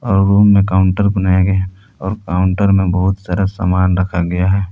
और रूम में काउंटर बनाया गया है और काउंटर में बहुत सारा सामान रखा गया है।